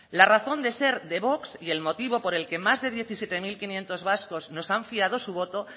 la razón de ser de vox y el motivo por el que más de diecisiete mil quinientos vascos nos han fiado su voto